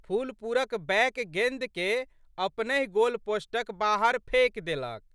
फुलपुरक बैक गेंदके अपनहि गोलपोस्टक बाहर फेकि देलक।